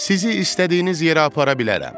Sizi istədiyiniz yerə apara bilərəm.